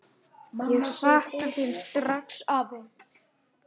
Ég sakna þín strax, afi.